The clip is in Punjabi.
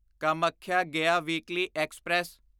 Kamakhya Gaya weekly express